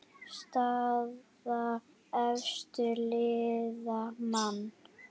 Staða efstu liða: Man.